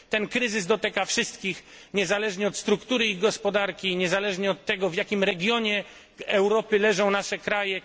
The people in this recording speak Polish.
Ten kryzys dotyka wszystkich niezależnie od struktury i gospodarki, niezależnie od tego, w jakim regionie Europy leżą nasze kraje.